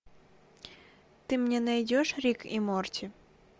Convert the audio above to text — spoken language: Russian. ты мне найдешь рик и морти